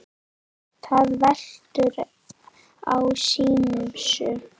Það veltur á ýmsu.